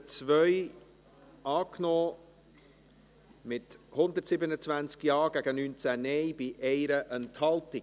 Sie haben die Ziffer 2 angenommen, mit 127 Ja- gegen 19 Nein-Stimmen bei 1 Enthaltung.